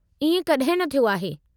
इएं कॾहिं न थियो आहे।